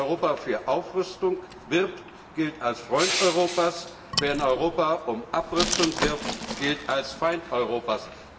Wer in Europa für Aufrüstung wirbt, gilt als Freund Europas, wer in Europa für Abrüstung wirbt, gilt als Feind Europas.